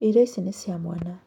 Irio ici nĩ cia mwana